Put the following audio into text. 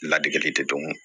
Ladege tɛ dɔn